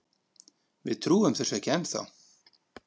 Við trúum þessu ekki ennþá.